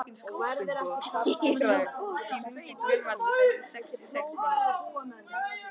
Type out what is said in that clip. Kíra, hringdu í Gunnvald eftir sextíu og sex mínútur.